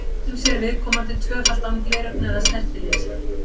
Stundum sér viðkomandi tvöfalt án gleraugna eða snertilinsa.